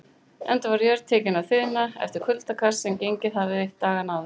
Enda var jörð tekin að þiðna eftir kuldakast, sem gengið hafði dagana áður.